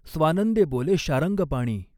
स्वानंदें बोले शार्ङगपाणी।